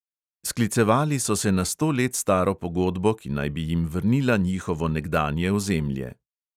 Sklicevali so se na sto let staro pogodbo, ki naj bi jim vrnila njihovo nekdanje ozemlje.